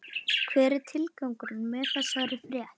Hver er tilgangurinn með þessari frétt?